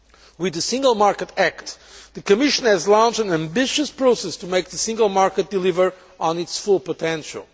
With the Single Market Act, the Commission has launched an ambitious process to make the single market deliver on its full potential.